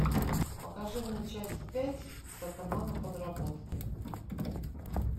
покажи мне часть пять сатана на подработке